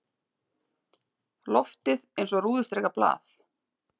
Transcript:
Loftið eins og rúðustrikað blað.